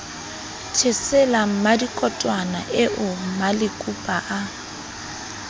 thesela mmadikotwana eo malekupa a